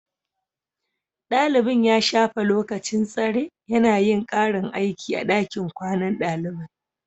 Dalibin ya shafe lokacin tsare yana yin karin aiki a dakin kwanan dalibai